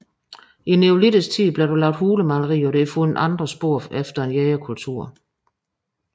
I neolitisk tid blev der lavet hulemalerier og der er fundet andre spor efter en jægerkultur